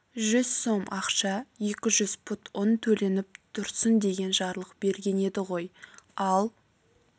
жүз сом ақша екі жүз пұт ұн төленіп тұрсын деген жарлық берген еді ғой ал